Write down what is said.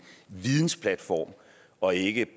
vidensplatform og ikke